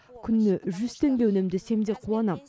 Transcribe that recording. күніне жүз теңге үнемдесем де қуанам